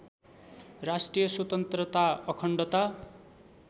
राष्ट्रिय स्वतन्त्रता अखण्डता